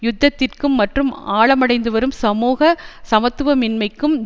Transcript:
யுத்தத்திற்கும் மற்றும் ஆழமடைந்துவரும் சமூக சமத்துவமின்மைக்கும்